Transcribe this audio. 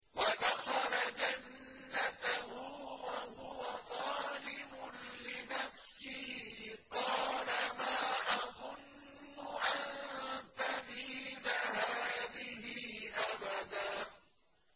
وَدَخَلَ جَنَّتَهُ وَهُوَ ظَالِمٌ لِّنَفْسِهِ قَالَ مَا أَظُنُّ أَن تَبِيدَ هَٰذِهِ أَبَدًا